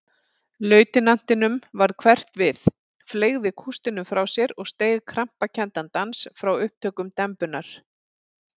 Lautinantinum varð hverft við, fleygði kústinum frá sér og steig krampakenndan dans frá upptökum dembunnar.